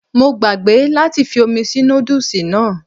Mo gbàgbé láti fi omi sí nódùsì náà